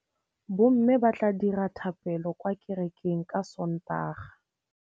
Bommê ba tla dira dithapêlô kwa kerekeng ka Sontaga.